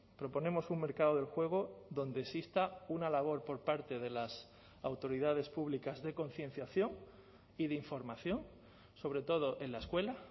proponemos un mercado del juego donde exista una labor por parte de las autoridades públicas de concienciación y de información sobre todo en la escuela